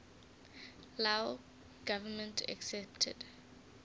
lao government accepted